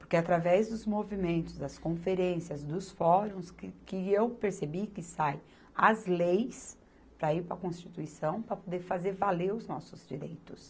Porque através dos movimentos, das conferências, dos fóruns, que eu percebi que saem as leis para ir para Constituição, para poder fazer valer os nossos direitos.